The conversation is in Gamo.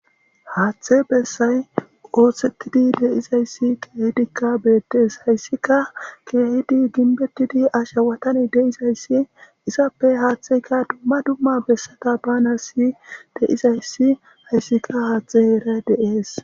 Haaththe bessay oothsettidi deizayssi keehidikka beettes hayssika keehidi ginbetidi asha watane deizayssi izappe haaththeyka dumma dumma bessata bana si de'izayssi hayssika haaththe eeray deees.